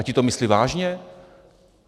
A ti to myslí vážně?